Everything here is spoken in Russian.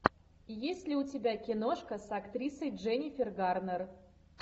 есть ли у тебя киношка с актрисой дженнифер гарнер